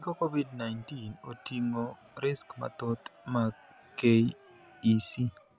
Giko Covid-19 oting'o risks mathoth mag KEC.